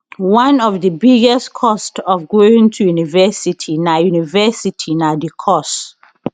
one of di biggest costs of going to university na university na di course